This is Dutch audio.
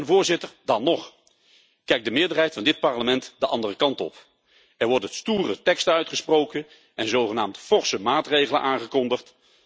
Voorzitter, dan nog kijkt de meerderheid van dit Parlement de andere kant op en wordt er stoere tekst uitgesproken en worden er zogenaamd forse maatregelen aangekondigd.